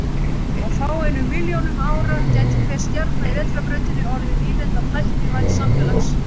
Á fáeinum milljónum árum gæti hver stjarna í Vetrarbrautinni orðið nýlenda tæknivædds samfélags.